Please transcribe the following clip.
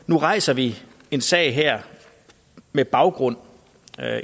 nu rejser vi en sag her med baggrund